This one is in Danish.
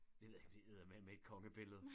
Det ved jeg ikke men det er eddermaneme et konge billede